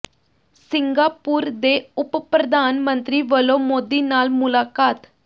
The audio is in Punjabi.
ਸਿੰਗਾਪੁਰ ਦੇ ਉਪ ਪ੍ਰਧਾਨ ਮੰਤਰੀ ਵਲੋਂ ਮੋਦੀ ਨਾਲ ਮੁਲਾਕਾਤ